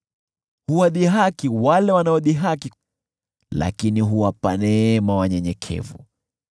Huwadhihaki wale wanaodhihaki, lakini huwapa neema wale wanyenyekevu.